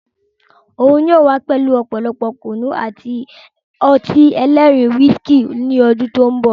N yóò wà pẹ̀lú ọ̀pọ̀lọpọ̀ Kùnú àti ọtí ẹlẹ́rìndòdò "Wisikí" ni ọdún tòun bọ̀.